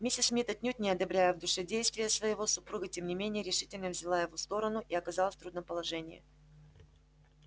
миссис мид отнюдь не одобряя в душе действия своего супруга тем не менее решительно взяла его сторону и оказалась в трудном положении